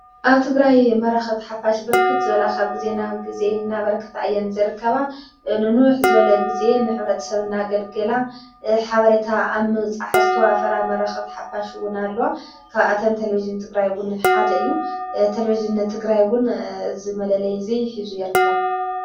ኣብ ቲግራይ መራኸብቲ ሓፋሽ ብርክት ዘበላኻብ ጊዜ ና ጊዜ እናበርከት እየን ዘርከባ ንኑኅ ዘበለ ጊዜ ንኅብረት ሰብና ኣገልገላ ሓበሬታ ኣም ፃሕስተዋ ፍራ መራኸብት ሓፋሽውን ኣለዋ ካብኣተም ተለቢጅን ትግራይውን ሓደ እዩ ተለቢጅን ቲግራይውን ዝመለለ ዘይ ኂዙ የርከብ።